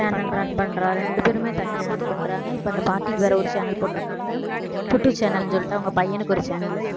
channel run பண்றான் ரெண்டு பேருமே தனியா run பண்றாங்க இப்ப அந்த பாட்டிக்கு வேற ஒரு channel போட்டுருக்காங்க channel ன்னு சொல்லிட்டு அவங்க பையனுக்கு ஒரு channel லு